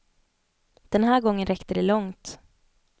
Den här gången räckte det långt.